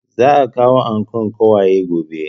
Za a kawo ankon ƙawaye gobe